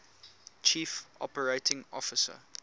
chief operating officer